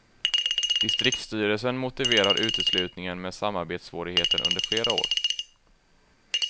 Distriktsstyrelsen motiverar uteslutningen med samarbetssvårigheter under flera år.